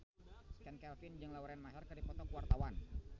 Chand Kelvin jeung Lauren Maher keur dipoto ku wartawan